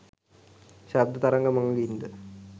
ශබ්ද තරංග මඟින් ද